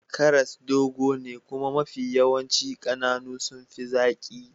Karas dogo ne kuma mafi yawanci kananu sun fi zaki.